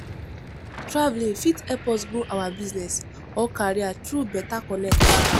Travelling fit help us grow our business or career through beta connect